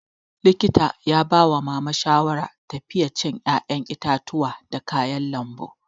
Likita ya bawa mama shawara tafiye cin 'ya'yan itatuwa da kayan lambu.